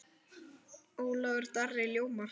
Ólafur Darri ljómar.